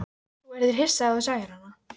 Þú yrðir hissa ef þú sæir hana.